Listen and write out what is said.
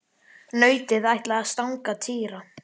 Nautið ætlaði að stanga Týra.